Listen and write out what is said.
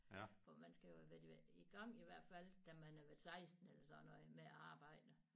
For man skal jo have været i gang i hvert fald da man har været 16 eller sådan noget med at arbejde